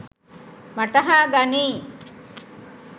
වටහා ගනියි.